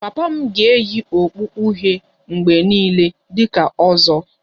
Papa m ga-eyi okpu uhie mgbe niile dị ka 'ozo'